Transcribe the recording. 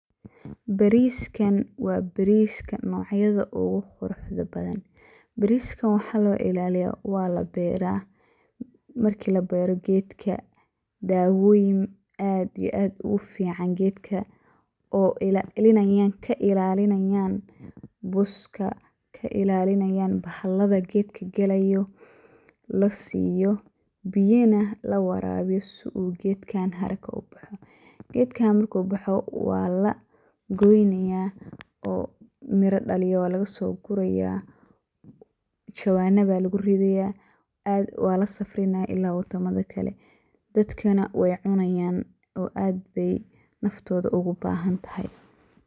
Bariskan wa bariska nocyada oguquruxda badan, bariska waxa loilaliya walabera marki labero gedka, dawoyin aad iyo aad ufican gedka oo kailaliyan buska iyo bahalada gedka galayo lasiyo biyana lawarawiyo sii uu gedka haraka ubaxo. Gedka marku baxo walagoynaya oo mira dhaliyo walagasoguraya, jawanada aya luguguraya walasafrinaya ila wadamada kale dadkana wey cunayan oo aad ayey nafto ogubahantahay.